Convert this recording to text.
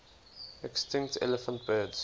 extinct elephant birds